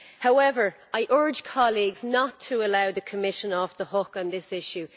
However, I urge colleagues not to allow the Commission off the hook on this issue.